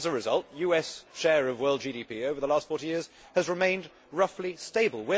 as a result, US share of world GDP over the last 40 years has remained roughly stable.